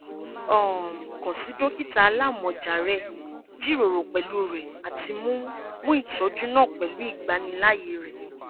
um kan si dokita alamọja rẹ jiroro pẹlu rẹ ati mu mu itọju naa pẹlu igbanilaaye re